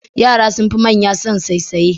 Yaran sun fi manya son saisaye.